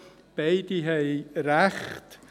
Beide haben recht.